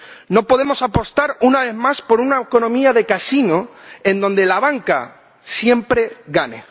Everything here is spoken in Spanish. No podemos apostar una vez más por una economía de casino en la que la banca siempre gane.